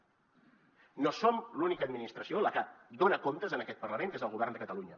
no som l’única administració la que dona comptes en aquest parlament que és el govern de catalunya